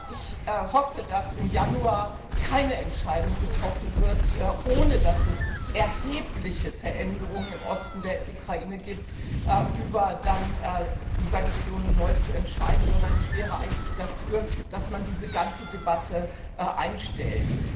Ich hoffe, dass im Januar keine Entscheidung getroffen wird ohne dass es erhebliche Veränderungen im Osten der Ukraine gibt über die Sanktionen neu zu entscheiden, sondern ich wäre eigentlich dafür, dass man diese ganze Debatte einstellt.